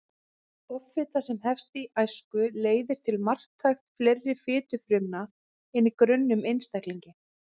Offita sem hefst í æsku leiðir til marktækt fleiri fitufrumna en í grönnum einstaklingi.